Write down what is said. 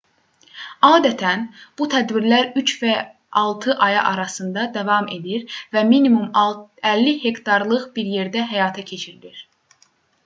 adətən bu tədbirlər üç və altı aya arasında davam edir və minimum 50 hektarlıq bir yerdə həyata keçirilir